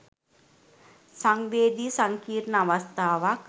සංවේදි සංකීර්ණ අවස්ථාවක්.